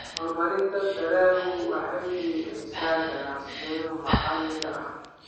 Horumarinta dalaggu waxay dhiirigelisaa ganacsiyada maxalliga ah.